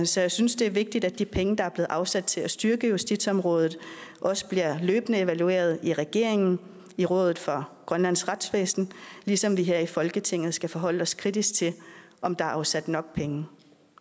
så jeg synes det er vigtigt at de penge der er blevet afsat til at styrke justitsområdet også bliver løbende evalueret i regeringen og i rådet for grønlands retsvæsen ligesom vi her i folketinget skal forholde os kritisk til om der er afsat nok penge